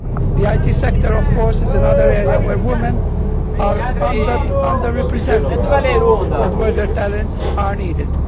The IT sector, of course, is another area where women are under represented and where their talents are needed.